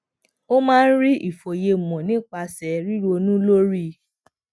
ó máa ń rí ìfòyemò nípasè ríronú lórí